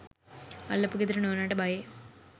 අල්ලපු ගෙදර නෝනාට බයේ.